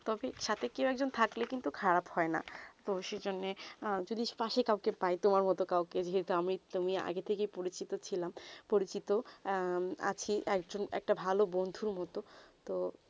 সাথে কেউ এক জন থাকলে কিন্তু খারাপ হয়ে না তো সেই জন্যে যদিম পাশে কাউকে প্রায়ই তোমার মতুন কাউ কে যে আমি তুমি আগে থেকে ই পরিচিত ছিলাম পরিচিত আছি একজন একটা ভালো বন্ধু মতুন তো